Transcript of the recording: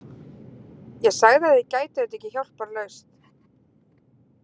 Ég sagði að þið gætuð þetta ekki hjálparlaust.